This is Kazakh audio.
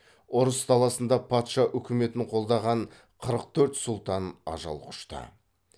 ұрыс даласында патша үкіметін қолдаған қырық төрт сұлтан ажал құшты